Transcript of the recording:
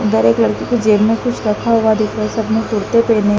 उधर एक लड़के की जेब में कुछ रखा हुआ दिख रहा है सब ने कुर्ते पहने--